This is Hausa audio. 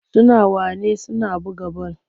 Suna wane suna buga bal.